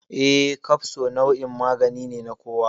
Eh, kafso nau'in magani ne na kowa.